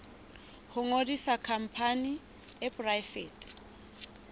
ho ngodisa khampani e poraefete